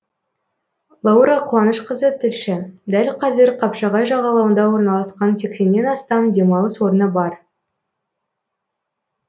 лаура қуанышқызы тілші дәл қазір қапшағай жағалауында орналасқан сексеннен астам демалыс орны бар